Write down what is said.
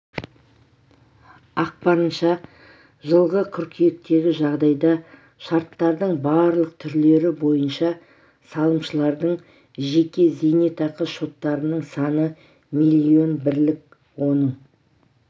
ақпарынша жылғы қыркүйектегі жағдайда шарттардың барлық түрлері бойынша салымшылардың жеке зейнетақы шоттарының саны млн бірлік оның